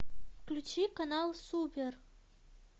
включи канал супер